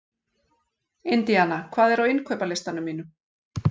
Indíana, hvað er á innkaupalistanum mínum?